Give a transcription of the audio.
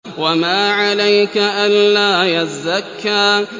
وَمَا عَلَيْكَ أَلَّا يَزَّكَّىٰ